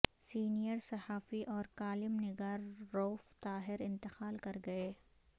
senior صحافی اور column نگار روف طاہر انتقال کرگئے